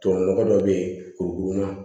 Tubabu nɔgɔ dɔ bɛ yen kurukurunan